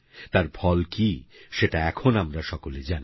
তার ফল কী সেটা এখন আমরা সকলে জানি